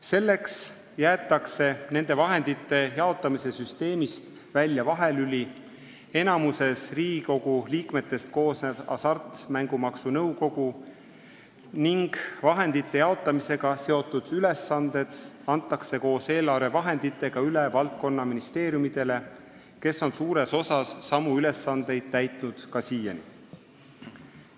Selleks jäetakse nende vahendite jaotamise süsteemist välja vahelüli, enamikus Riigikogu liikmetest koosnev Hasartmängumaksu Nõukogu, ning vahendite jaotamisega seotud ülesanded antakse koos eelarvevahenditega üle valdkonnaministeeriumidele, kes on suures osas samu ülesandeid täitnud ka siiani.